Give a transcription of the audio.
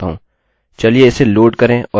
ओह! हम ब्रेकbreak भूल गये